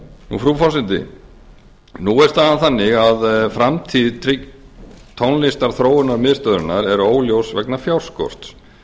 leilo frú forseti nú er staðan þannig að framtíð tónlistarþróunarmiðstöðvarinnar er óljós vegna fjárskorts